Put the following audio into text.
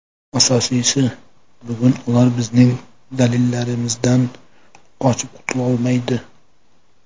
Asosiysi, bugun ular bizning dalillarimizdan qochib qutulolmaydi.